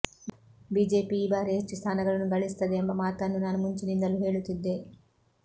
BJP ಈ ಬಾರಿ ಹೆಚ್ಚು ಸ್ಥಾನಗಳನ್ನು ಗಳಿಸುತ್ತದೆ ಎಂಬ ಮಾತನ್ನು ನಾನು ಮುಂಚಿನಿಂದಲೂ ಹೇಳುತ್ತಿದ್ದೆ